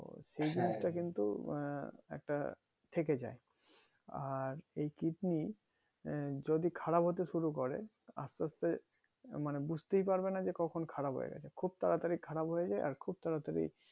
সেই জিনিষটা কিন্তু আহ একটা থেকে যাই আর এই কিডনি আহ যদি খারাপ হতে শুরু করে আস্তে আস্তে মানে বুঝতেই পারবানা যে কখন খারাপ হয়ে গেছে খুব তাড়াতাড়ি খারাপ হয়ে যাই আর খুব তাড়াতাড়ি